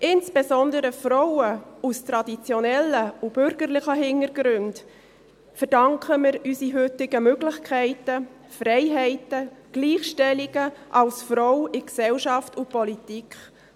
Insbesondere Frauen aus traditionellen und bürgerlichen Hintergründen verdanken wir unsere heutigen Möglichkeiten, Freiheiten, die Gleichstellung als Frau in Gesellschaft und Politik.